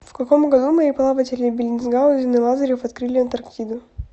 в каком году мореплаватели беллинсгаузен и лазарев открыли антарктиду